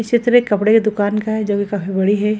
ये चित्र एक कपड़े की दुकान का है जो कि काफी बड़ी है।